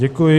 Děkuji.